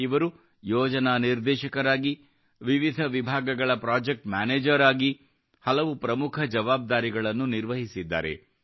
ಇವರು ಯೋಜನಾ ನಿರ್ದೇಶಕರಾಗಿ ವಿವಿಧ ವಿಭಾಗಗಳ ಪ್ರಾಜೆಕ್ಟ್ ಮ್ಯಾನೇಜರ್ ಆಗಿ ಹಲವು ಪ್ರಮುಖ ಜವಾಬ್ದಾರಿಗಳನ್ನು ನಿರ್ವಹಿಸಿದ್ದಾರೆ